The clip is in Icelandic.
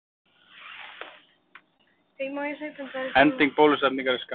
Ending bólusetningar er skammvinn.